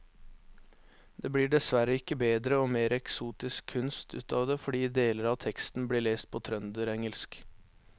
Det blir dessverre ikke bedre og mer eksotisk kunst ut av det fordi deler av teksten blir lest på trønderengelsk.